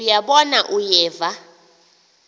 uya bona uyeva